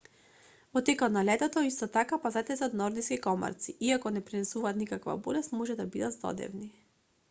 во текот на летото исто така пазете се од нордиски комарци иако не пренесуваат никаква болест може да бидат здодевни